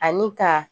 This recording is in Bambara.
Ani ka